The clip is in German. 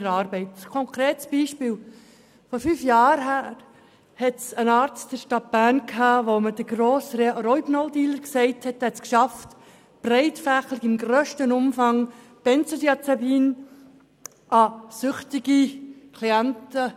Ein konkretes Beispiel: Vor fünf Jahren schaffte es ein Arzt in der Stadt Bern, süchtigen Klienten von uns breit gefächert und im grössten Umfang Benzodiazepine zu verschreiben.